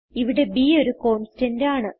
ഇവിടെ b ഒരു constant ആണ്